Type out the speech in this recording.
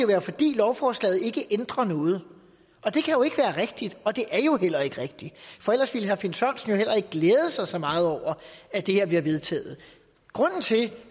være fordi lovforslaget ikke ændrer noget og det kan rigtigt og det for ellers ville herre finn sørensen heller ikke glæde sig så meget over at det her bliver vedtaget grunden til